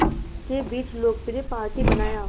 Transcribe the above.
के बीच लोकप्रिय पार्टी बनाया